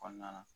Kɔnɔna na